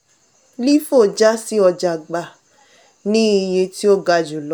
lifo ja sí ọja gba ni iye tí o ga julọ.